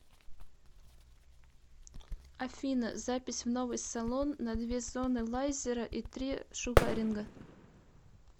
афина запись в новый салон на две зоны лайзера и три шугаринга